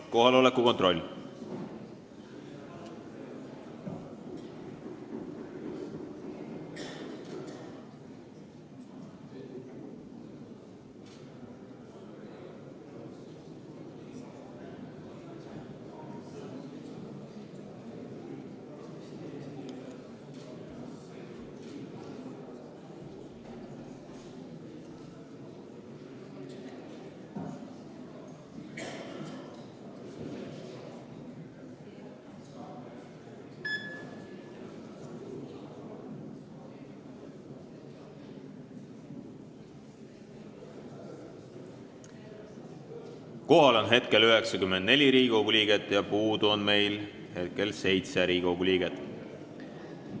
Kohaloleku kontroll Kohal on hetkel 94 Riigikogu liiget ja puudu on meil hetkel 7 Riigikogu liiget.